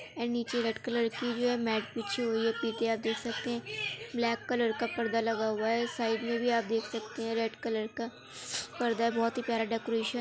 and नीचे red colour की जो है मेट बिछी हुई है पीछे आप देख सकते है ब्लैक कलर का पर्दा लगा हुआ है साइड में भी आप देख सकते है रेड कलर का पर्दा है बहुत ही प्यारा डेकोरेशन --